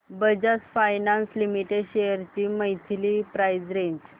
Bajaj finance limited shares ची monthly price range